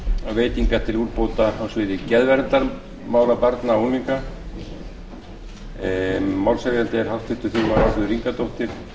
fjárveitingar til úrbóta á sviði geðverndarmála barna og unglinga málshefjandi er háttvirtir þingmenn álfheiður ingadóttir